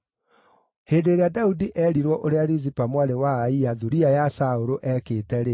Hĩndĩ ĩrĩa Daudi eerirwo ũrĩa Rizipa mwarĩ wa Aia, thuriya ya Saũlũ, eekĩte-rĩ,